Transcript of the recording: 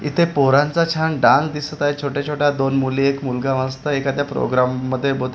इथे पोरांचा छान डान दिसत आहे छोट्या छोट्या दोन मुली एक मुलगा मस्त एखाद्या प्रोग्राम मध्ये बहुते--